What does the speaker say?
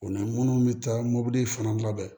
O la minnu bɛ taa mobili fana labɛn